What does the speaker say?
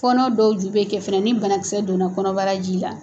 Fɔnɔ dɔw ju bɛ kɛ fana ni banakisɛ donna kɔnɔbara ji la.